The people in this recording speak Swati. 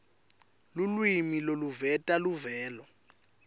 lulwimi loluveta luvelo